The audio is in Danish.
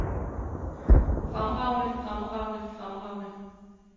fremragende fremragende fremragende